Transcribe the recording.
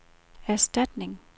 erstatning